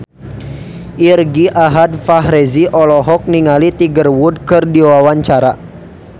Irgi Ahmad Fahrezi olohok ningali Tiger Wood keur diwawancara